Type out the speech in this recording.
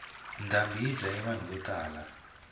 ndhambi yi dlaye vanhu vo tala